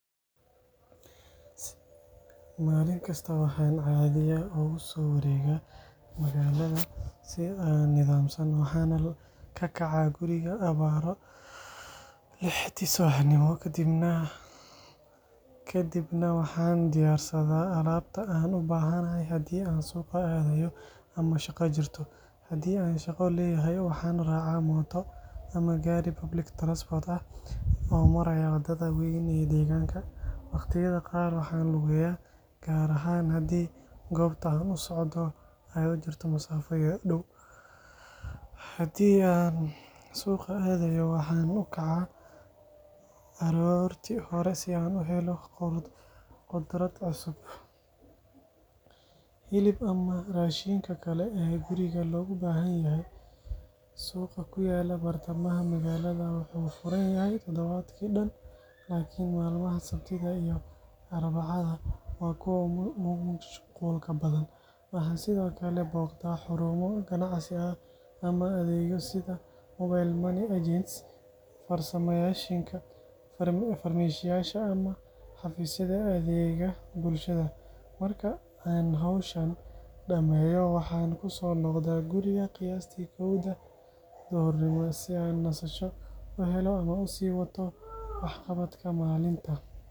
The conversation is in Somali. Maalin kasta waxaan caadiyan ugu soo wareegaa magaalada si nidaamsan. Waxaan ka kacaa guriga abbaaro lixda subaxnimo, kadibna waxaan diyaarsadaa alaabta aan u baahanahay haddii aan suuqa aadayo ama shaqo jirto. Haddii aan shaqo leeyahay, waxaan raacaa mooto ama gaari public transport ah oo maraya waddada weyn ee deegaanka. Waqtiyada qaar waxaan lugeeyaa, gaar ahaan haddii goobta aan u socdo ay u jirto masaafo dhow. Haddii aan suuqa aadayo, waxaan u kacaa aroortii hore si aan u helo khudrad cusub, hilib ama raashinka kale ee guriga loogu baahan yahay. Suuqa ku yaal bartamaha magaalada wuxuu furan yahay toddobaadkii dhan, laakiin maalmaha sabtida iyo arbacada waa kuwa ugu mashquulka badan. Waxaan sidoo kale booqdaa xarumo ganacsi ama adeegyo sida mobile money agents, farmashiyaasha ama xafiisyada adeegga bulshada. Marka aan howlahaas dhammeeyo, waxaan ku soo noqdaa guriga qiyaastii kowda duhurnimo si aan nasasho u helo ama u sii wato waxqabadka maalinta.